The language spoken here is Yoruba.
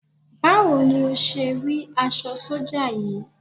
Báwo ni o ṣé rí aṣọ sọ́jà yìí?